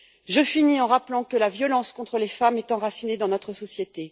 Je finis en rappelant que la violence contre les femmes est enracinée dans notre société.